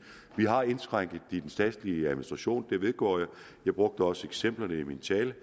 vi har indskrænket den statslige administration det vedgår jeg og jeg brugte også eksemplerne i min tale